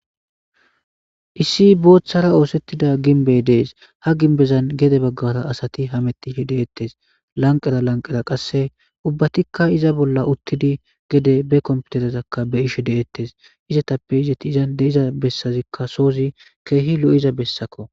issi booththara oosettida ginbey dees ha ginbezan gede baggara asati hamettih deettes lanqera lanqera qasse ubbatikka iza bolla uttidi gede be komputerezakka be ishe deettes izatappe izati izan deiza bessazikka soozi keehi lo7iza bessakko